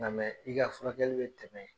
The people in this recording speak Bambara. Nga mɛ i ka furakɛli be tɛmɛ